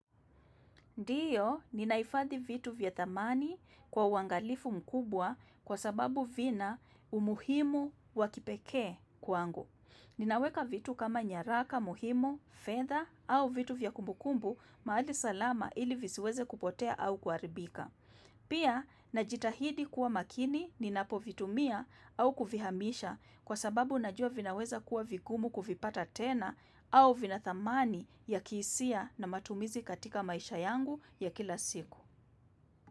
Ndio, ninahifadhi vitu vya thamani kwa uangalifu mkubwa kwa sababu vina umuhimu wa kipekee kwangu. Ninaweka vitu kama nyaraka, muhimu, fedha au vitu vya kumbukumbu mahali salama ili visiweze kupotea au kuharibika. Pia, najitahidi kuwa makini ninapovitumia au kuvihamisha kwa sababu najua vinaweza kuwa vigumu kuvipata tena au vina thamani ya kihisia na matumizi katika maisha yangu ya kila siku.